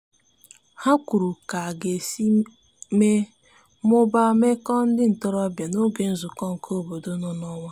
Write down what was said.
ha kwuru ka aga esi mee/mụbaa meko ndi ntorobia n'oge nzuko nke obodo n'onwa